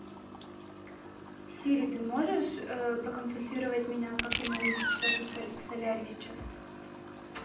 сири ты можешь проконсультировать меня как я могу записаться в солярий сейчас